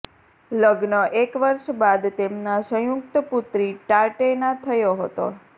લગ્ન એક વર્ષ બાદ તેમના સંયુક્ત પુત્રી ટાટૈના થયો હતો